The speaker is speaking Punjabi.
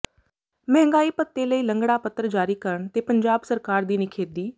ਮਹਿੰਗਾਈ ਭੱਤੇ ਲਈ ਲੰਗੜਾ ਪੱਤਰ ਜਾਰੀ ਕਰਨ ਤੇ ਪੰਜਾਬ ਸਰਕਾਰ ਦੀ ਨਿਖੇਧੀ